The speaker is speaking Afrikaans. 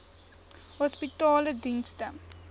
hospitaledienste